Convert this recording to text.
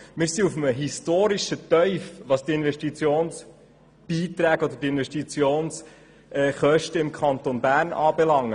Wir befinden uns auf einem historischen Tief, was die Investitionskosten im Kanton Bern anbelangt.